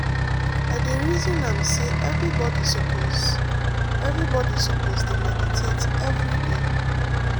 i de reason am say everybody suppose everybody suppose dey meditate every day.